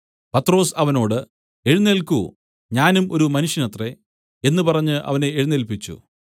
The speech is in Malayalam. പത്രൊസ് അവനോട് എഴുന്നേല്ക്കു ഞാനും ഒരു മനുഷ്യനത്രെ എന്നു പറഞ്ഞ് അവനെ എഴുന്നേല്പിച്ചു